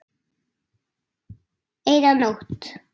Eina nótt.